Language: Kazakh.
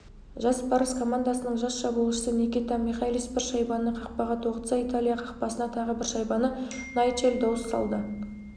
жас барыс командасының жас шабуылшысы никита михайлис бір шайбаны қақпаға тоғытса италия қақпасына тағы бір шайбаны найджел доус салды